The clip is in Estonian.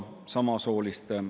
Oleksin palunud kolm minutit juurde.